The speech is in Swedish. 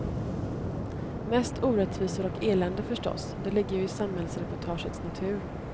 Mest orättvisor och elände förstås, det ligger ju i samhällsreportagets natur.